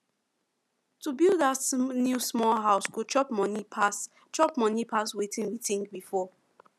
to build that new small house go chop money pass chop money pass wetin we think before